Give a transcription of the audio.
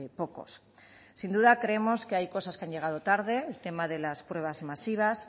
pocos sin duda creemos que hay cosas que han llegado tarde el tema de las pruebas masivas